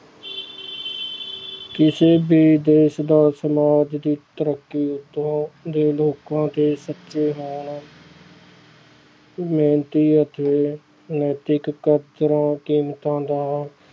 ਕਿਸੇ ਵੀ ਦੇਸ ਦਾ ਸਮਾਜ ਦੀ ਤਰੱਕੀ ਉੱਥੋਂ ਲੋਕਾਂ ਦੇ ਸੱਚੇ ਹੋਣ ਮਿਹਨਤੀ ਅਤੇ ਨੈਤਿਕ ਕਦਰਾਂ ਕੀਮਤਾਂ ਦਾ